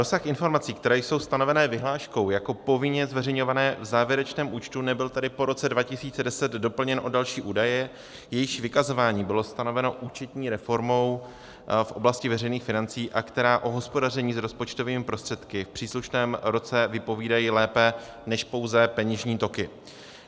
Rozsah informací, které jsou stanovené vyhláškou jako povinně zveřejňované v závěrečném účtu, nebyl tedy po roce 2010 doplněn o další údaje, jejichž vykazování bylo stanoveno účetní reformou v oblasti veřejných financí a která o hospodaření s rozpočtovými prostředky v příslušném roce vypovídají lépe než pouze peněžní toky.